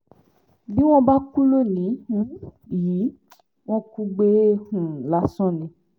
bí wọ́n bá kú lónìí um yìí wọ́n kù gbé um lásán ni